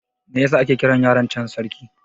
Me yasa ake kiran yaron can Sarki?